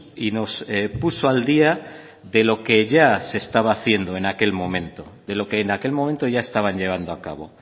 y nos puso al día de lo que ya se estaba haciendo en aquel momento de lo que en aquel momento ya estaban llevando a cabo